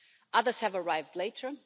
Others have arrived later.